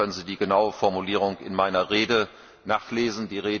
Im Übrigen können Sie die genaue Formulierung in meiner Rede nachlesen.